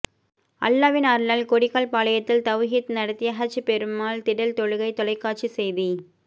அல்லாஹ்வின் அருளால் கொடிக்கால்பாளையத்தில் தவ்ஹீத் நடத்திய ஹஜ் பெருநாள் திடல் தொழுகை தொலைக்காட்சி செய்தி